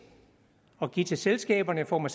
og give dem til selskaberne i form af